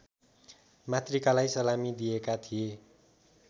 मातृकालाई सलामी दिएका थिए